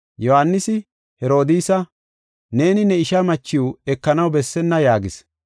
Yohaanisi Herodiisa, “Neeni ne ishaa machiw ekanaw bessenna” yaagis.